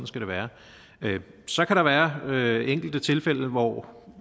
skal være sådan så kan der være enkelte tilfælde hvor